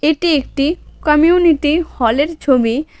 এটি একটি community hall -এর ছবি।